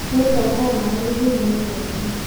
Nĩngataha maĩ gĩthima-inĩ rũciũ